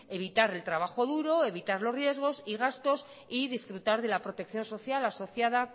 evitar el trabajo duro evitar los riesgos y gastos y disfrutar de la protección social asociada